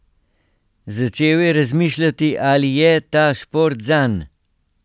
Začel je razmišljati, ali je ta šport zanj.